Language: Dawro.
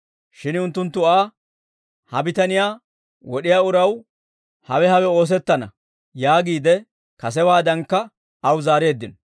Shin unttunttu Aa, «Ha bitaniyaa wod'iyaa uraw hawe hawe oosettana» yaagiide kasewaadankka aw zaareeddino.